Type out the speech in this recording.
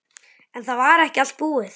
En það var ekki allt búið.